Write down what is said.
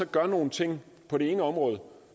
gør nogle ting på det ene område